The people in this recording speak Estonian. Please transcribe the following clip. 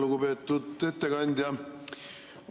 Lugupeetud ettekandja!